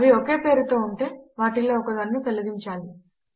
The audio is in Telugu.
అవి ఒకే పారు తో ఉంటె వాటిలో ఒకదానిని తొలగించాలి